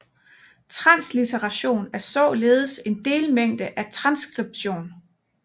Translitteration er således en delmængde af transskription